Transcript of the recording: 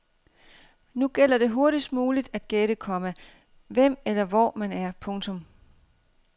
Nu gælder det hurtigst muligt at gætte, komma hvem eller hvor man er. punktum